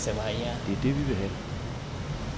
Det er det, vi vil have.